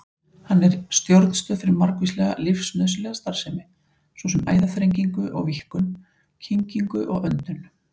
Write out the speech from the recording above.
Hann er stjórnstöð fyrir margvíslega lífsnauðsynlega starfsemi, svo sem æðaþrengingu og-víkkun, kyngingu og öndun.